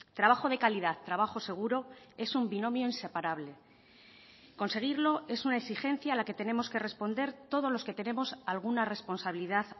trabajo de calidad trabajo seguro es un binomio inseparable conseguirlo es una exigencia a la que tenemos que responder todos los que tenemos alguna responsabilidad